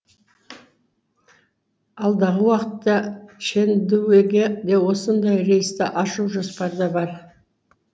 алдағы уақытта чэндуге де осындай рейсті ашу жоспарда бар